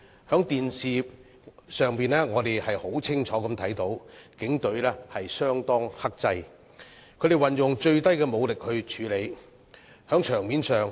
在電視畫面中，我們清楚看到警隊相當克制，運用最低武力處理情況。